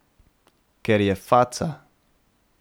Ker je faca.